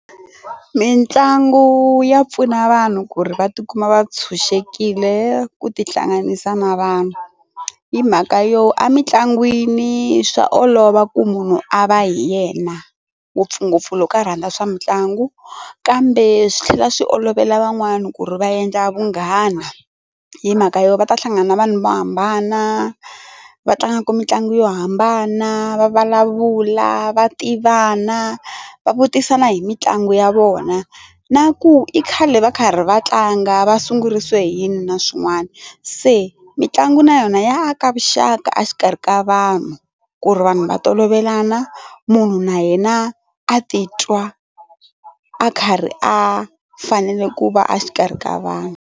Mitlangu ya pfuna vanhu ku ri va tikuma va tshunxekile ku tihlanganisa na vanhu hi mhaka yo emitlangwini swa olova ku munhu a va hi yena ngopfungopfu lowu ka rhandza swa mitlangu kambe swi tlhela swi olovela van'wani ku ri va endla vunghana hi mhaka yo va ta hlangana na vanhu vo hambana va tlangaka mitlangu yo hambana va vulavula va tivana va vutisa hi mitlangu ya vona na ku i khale va karhi va tlanga va sungurise hi yini na swin'wana se mitlangu na yona ya aka vuxaka exikarhi ka vanhu ku ri vanhu va tolovelanga munhu na yena a titwa a karhi a fanele ku va a xikarhi ka vanhu.